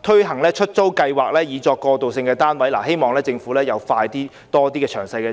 推行出租計劃以作過渡性房屋，我希望政府加快公布更多詳細資料。